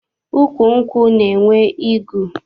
Ukwu nkwụ na-enwe igu.